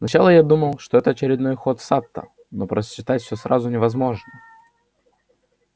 сначала я думал что это очередной ход сатта но просчитать всё сразу невозможно